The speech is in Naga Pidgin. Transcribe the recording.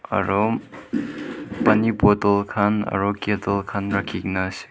aru paani bottle khan aru kettle khan rakhigena ase.